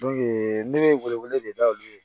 ne bɛ welewele de da olu ye